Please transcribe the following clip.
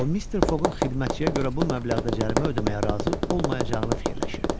O Mister Foqun xidmətçiyə görə bu məbləğdə cərimə ödəməyə razı olmayacağını fikirləşirdi.